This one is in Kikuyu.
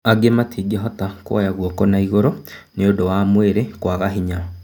Angĩ matingĩhota kuoya guoko naigũrũ nĩũndũ wa mwĩrĩ kwaga hinya."